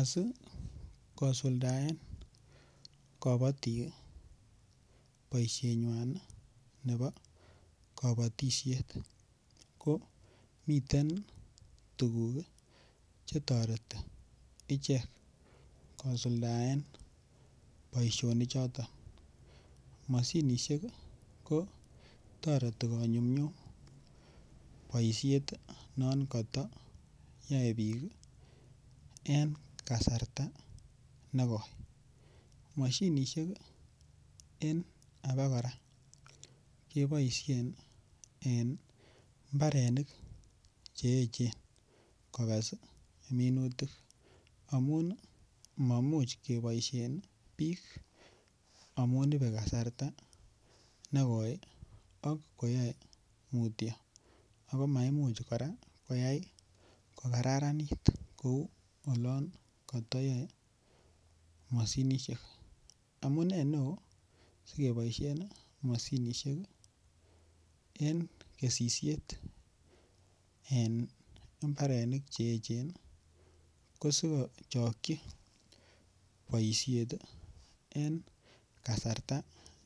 Asikosuldaen kobotik boishenywan nebo kobotishet ko miten tukuk chetoreti ichek kosuldaen boishoni choton, moshinishek kotoreti konyumnyum boishet non kotoyoe biik en kasarta nekoi, moshinishek en abakora keboishen en mbarenik che echen kokes minutik amun mamuch keboishen biik amun ibee kasarta nekoi ak koyoe mutio ak ko maimuch kora koyai ko kararanit kou yoon kotoyoe mashinishek, amune neo sikeboishen en kesisiet en imbarenik che echen ko sikochokyi boishet en kasarta